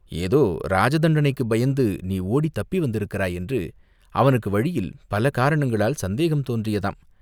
ஏதோ இராஜ தண்டனைக்குப் பயந்து நீ ஓடித் தப்பி வந்திருக்கிறாய் என்று அவனுக்கு வழியில் பல காரணங்களால் சந்தேகம் தோன்றியதாம்!